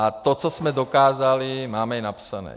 A to, co jsme dokázali, máme i napsané.